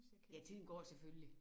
Ja tiden går selvfølgelig